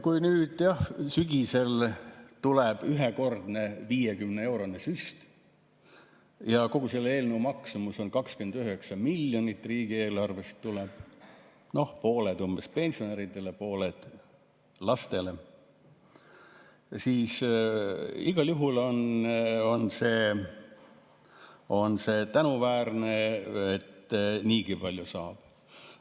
Kui nüüd sügisel tuleb ühekordne 50‑eurone süst ja kogu selle eelnõu maksumus on 29 miljonit, see tuleb riigieelarvest, umbes pool pensionäridele, pool lastele, siis igal juhul on tänuväärne, et niigi palju saab.